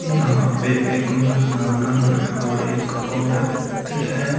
यहां पे एक मरदाना है और एक औरत है।